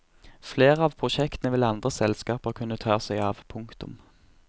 Flere av prosjektene vil andre selskaper kunne ta seg av. punktum